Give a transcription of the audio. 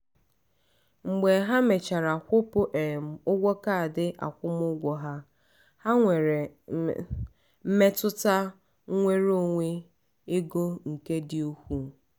mgbe ha mechara kwụpụ um ụgwọ kaadị akwụmụgwọ ha ha nwere mmetụta nnwere onwe ego nke dị ukwuu.